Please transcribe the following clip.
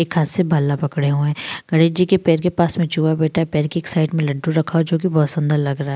एक हाथ से बल्ला पकड़े हुए हैं। गणेश जी के पैर के पास में चूहा बैठा है। पैर के एक साइड में लड्डू रखा हुआ है जो बहुत सुंदर लग रहा --